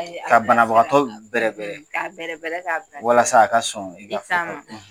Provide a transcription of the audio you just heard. Ka banabagatɔ bɛrɛ bɛrɛ, ka bɛrɛ bɛrɛ walasa a ka sɔn i ka fɔtaw ma, i ta ma